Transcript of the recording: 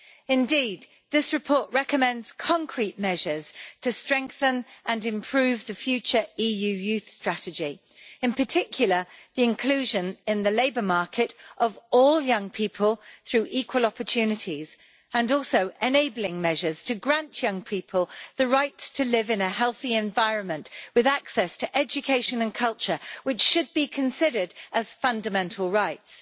Indeed, this report recommends concrete measures to strengthen and improve the future EU youth strategy, in particular, the inclusion in the labour market of all young people through equal opportunities and also enabling measures to grant young people the right to live in a healthy environment with access to education and culture, which should be considered fundamental rights.